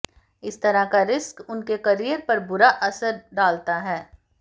इस तरह का रिस्क उनके करियर पर बूरा असरव डालता है